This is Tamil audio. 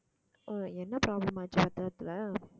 ஆஹ் என்ன problem ஆச்சு பத்திரத்துல